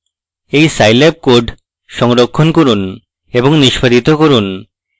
এই scilab code সংরক্ষণ করুন এবং নিষ্পাদিত করুন